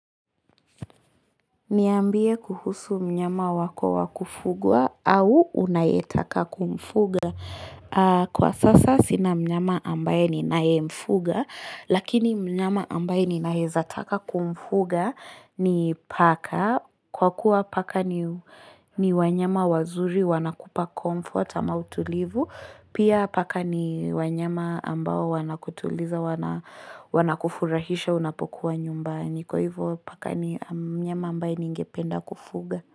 Niambie kuhusu mnyama wako wa kufugwa au unayetaka kumfuga. Kwa sasa sina mnyama ambaye ninayemfuga. Lakini mnyama ambaye ninaeza taka kumfuga ni paka. Kwa kuwa paka ni wanyama wazuri wanakupa comfort ama utulivu. Pia paka ni wanyama ambao wanakutuliza wanakufurahisha unapokuwa nyumbani. Kwa hivyo paka ni mnyama ambaye ningependa kufuga.